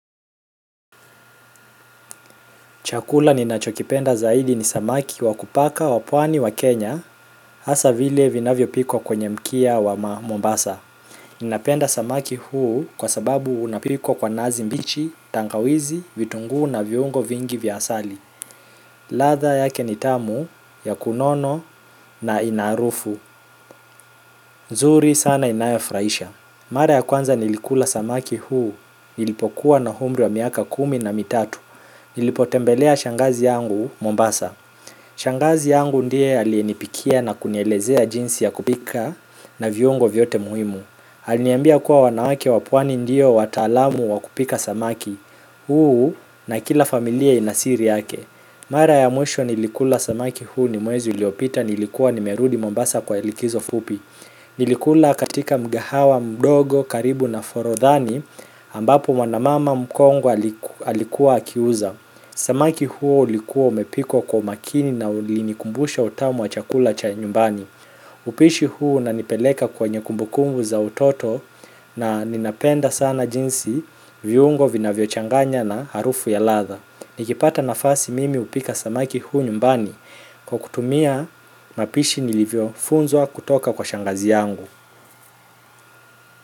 Chakula ninachokipenda zaidi ni samaki wakupaka wapwani wa Kenya hasa vile vinavyo pikwa kwenye mkia wa Mombasa. Ninapenda samaki huu kwa sababu unapikwa kwa nazi mbichi, tangawizi, vitunguu na viungo vingi vya asali ladha yake nitamu, yakunono na inaarufu zuri sana inayofuraisha mara ya kwanza nilikula samaki huu nilipokuwa na umri wa miaka kumi na mitatu nilipotembelea shangazi yangu Mombasa shangazi yangu ndiye alienipikia na kunielezea jinsi ya kupika na viungo vyote muhimu aliniambia kuwa wanawake wapwani ndio wataalamu wakupika samaki huu na kila familia inasiri yake mara ya mwisho nilikula samaki huu ni mwezi uliopita nilikua nimerudi mombasa kwa likizo fupi nilikula katika mgahawa mdogo karibu na forodhani ambapo mwanamama mkongwe alikuwa akiuza samaki huu ulikuwa umepikwa kwa umakini na ulinikumbusha utamu wa chakula cha nyumbani upishi huu unanipeleka kwenye kumbukumbu za utoto na ninapenda sana jinsi viungo vina vyo changanya na harufu ya ladha nikipata nafasi mimi hupika samaki huu nyumbani kwa kutumia mapishi nilivyo funzwa kutoka kwa shangazi yangu.